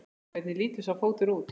Hvernig lítur sá fótur út?